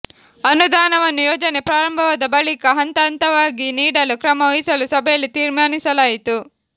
ಅನುದಾನವನ್ನು ಯೋಜನೆ ಪ್ರಾರಂಭವಾದ ಬಳಿಕ ಹಂತಹಂತವಾಗಿ ನೀಡಲು ಕ್ರಮ ವಹಿಸಲು ಸಭೆಯಲ್ಲಿ ತೀರ್ಮಾನಿಸಲಾಯಿತು